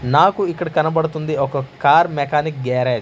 నాకు ఇక్కడ కనబడుతుంది ఒక కారు మెకానిక్ గ్యారేజ్ .